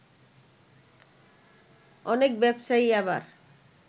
অনেক ব্যবসায়ী আবার